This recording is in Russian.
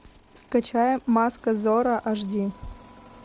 скачай маска зорро аш ди